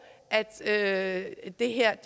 at det her